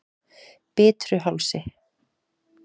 Bitruhálsi